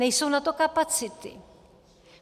Nejsou na to kapacity.